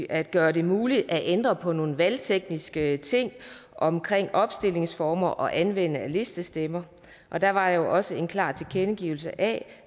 at gøre det muligt at ændre på nogle valgtekniske ting omkring opstillingsformer og anvendelse af listestemmer og der var jo også en klar tilkendegivelse af